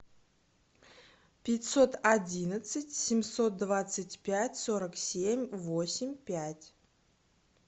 пятьсот одиннадцать семьсот двадцать пять сорок семь восемь пять